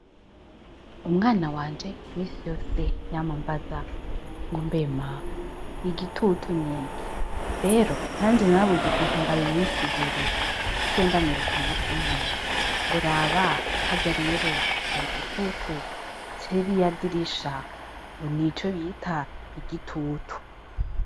Umwana wanje minsi yose yama ambaza ngombe ma igitutu niki? rero nanje narabuze ukuntu ndabimusigurira naciye ndamwereka umunsi umwe ngo raba harya rero hari igitutu ca ririya dirisha nico bita igitutu.